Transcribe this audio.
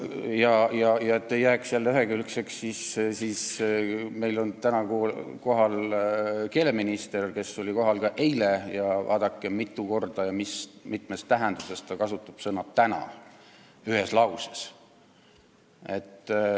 Ja et kriitika ei jääks ühekülgseks, siis märgin, et täna on meil saalis ka keeleminister, kes oli kohal ka eile, ja kas te panite tähele, mitu korda ja mitmes tähenduses ta kasutas sõna "täna"?